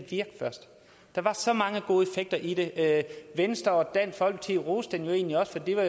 virke først der var så mange gode effekter i den venstre og dansk folkeparti roste den jo egentlig også for de var